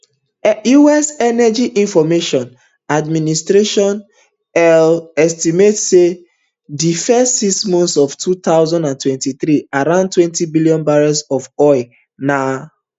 us energy information administration eia estimate say for di first six months of two thousand and twenty-three around twenty million barrels of oil na